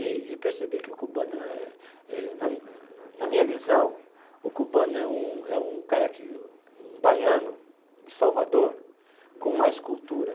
E percebi que o cubano é, na na minha visão, o cubano é um é um cara que um baiano de Salvador com mais cultura.